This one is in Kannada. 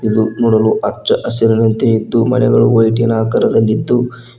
ಇದು ನೋಡಲು ಹಚ್ಚ ಹಸಿರಿನಂತೆ ಇದ್ದು ಮಳೆಗಳು ವೈಟಿನ ಆಕಾರದಲ್ಲಿದ್ದು --